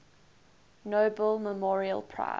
nobel memorial prize